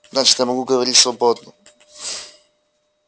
значит я могу говорить свободно